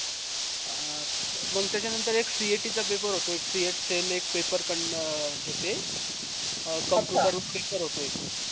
अं मंग त्याच्या नंतर एक cet चा paper होतो एक एक paper घेते अह computer वर paper होतो एक